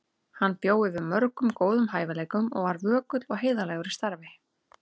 Hann bjó yfir mörgum góðum hæfileikum og var vökull og heiðarlegur í starfi.